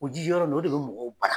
O ji jɔ yɔrɔ ninnu o de bɛ mɔgɔw bana.